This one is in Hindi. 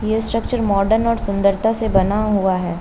यह स्ट्रक्चर मॉडर्न और सुंदरता से बना हुआ है।